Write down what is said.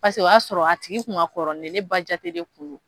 Paseke o y'a sɔrɔ a tigi kun ka kɔrɔ ni ne ye, ne ba jate de kun no.